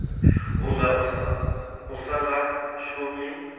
vhunga u sa nga shumi